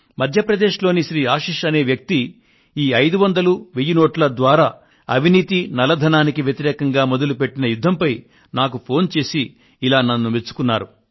మధ్య ప్రదేశ్లోని శ్రీ ఆశీస్ నాకు ఫోను చేసి 500 1000 రూపాయల నోట్ల ద్వారా అవినీతికి నల్లధనానికి వ్యతిరేకంగా మొదలుపెట్టిన యుద్ధంపై నన్ను ఇలా మెచ్చుకున్నారు